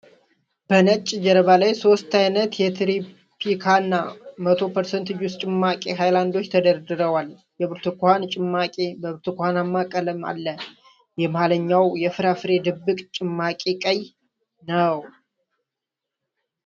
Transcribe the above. በነጭ ጀርባ ላይ ሦስት ዓይነት የ "ትሮፒካና 100% ጁስ" ጭማቂ ሃይላንዶች ተደርድረዋል። የብርቱካን ጭማቂ በብርቱካናማ ቀለም አለ፣ የመሃለኛው የፍራፍሬ ድብልቅ ጭማቂ ቀይ ነው።